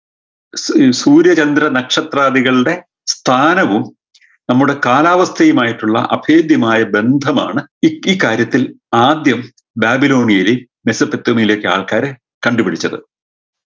സൂ ഏർ സൂര്യ ചന്ദ്ര നക്ഷത്രാദികളുടെ സ്ഥാനവും നമ്മുടെ കാലാവസ്ഥയുമായിട്ടുള്ള അഫേധ്യമായ ബന്ധമാണ് ഇ ഇക്കാര്യത്തിൽ ആദ്യം ബാബിലോണിയയിലെ മെസപ്പെത്തോമിയിലെയും ആൾക്കാര് കണ്ടുപിടിച്ചത്